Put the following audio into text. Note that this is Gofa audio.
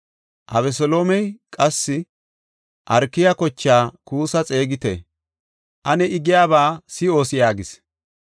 Abeseloomey, “Qassi Arkaya kocha Kuussa xeegite; I giyaba ane si7oos” yaagis.